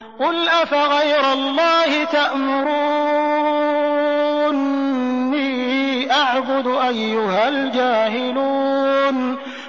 قُلْ أَفَغَيْرَ اللَّهِ تَأْمُرُونِّي أَعْبُدُ أَيُّهَا الْجَاهِلُونَ